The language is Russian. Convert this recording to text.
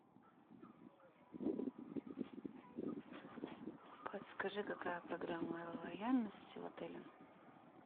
подскажи какая программа лояльности в отеле